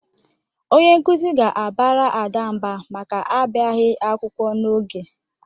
Onye nkuzi ga-abara Ada mba maka abịaghị akwụkwọ n'oge.